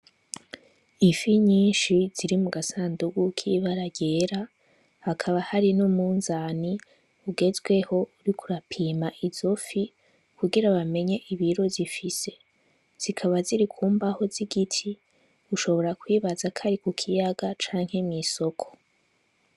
Ifi nyinshi ziri mu gasandugu kibaragera hakaba hari no munzani ugezweho uri kurapima izo fi kugira bamenye ibiro zifise zikaba ziri kumbaho z'igiti ushobora kwibaza kari ku kiyaga canke mw'isoko.